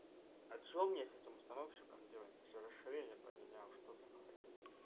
это что мне с этим установщиком делать если расширение поменял что за хрень